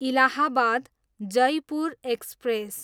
Allahabad, Jaipur express